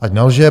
Ať nelže.